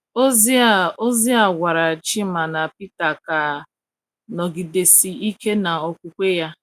Ozi a Ozi a gwara Chima na Peter ka a nọgidesi ike n’okwukwe ya.